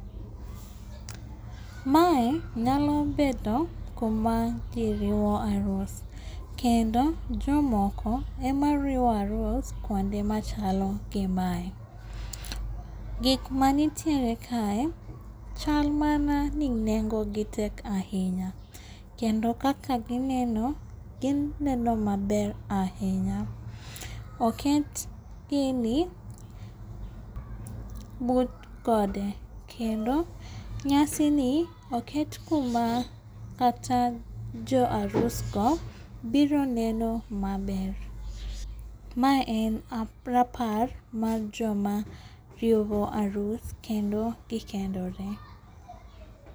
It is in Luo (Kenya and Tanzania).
Mae nyalo bedo kuma ji riwo arus. Kendo jomoko ema riwo arus kuonde machalo gimae. Gik manitiere kae chal mana ni nengo gi tek ahinya. Kendo kaka gi neno gi neno maber ahinya. Oket gini but gode. Kendo nyasini oket kuma kata jo arusgo biro neno maber. Mae en rapar mar joma riwo arus kendo gi kendore.